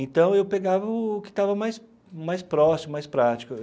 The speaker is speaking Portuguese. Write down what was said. Então, eu pegava o que estava mais mais próximo, mais prático.